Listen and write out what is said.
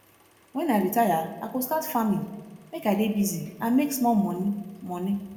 wen i retire i go start farming make i dey busy and make small money money